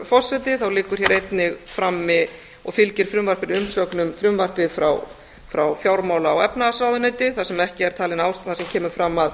forseti liggur hér einnig frammi og fylgir frumvarpinu umsögn um frumvarpið frá fjármála og efnahagsráðuneyti þar sem kemur fram að